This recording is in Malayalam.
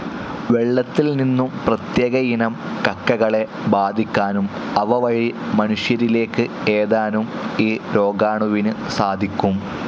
വെള്ളത്തിൽനിന്നും പ്രത്യേകയിനം കക്കകളെ ബാധിക്കാനും അവ വഴി മനുഷ്യരിലേക്ക് ഏതാനും ഈ രോഗാണുവിനു സാധിക്കും.